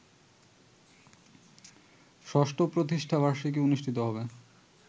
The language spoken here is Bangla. ৬ষ্ঠ প্রতিষ্ঠাবার্ষিকী অনুষ্ঠিত হবে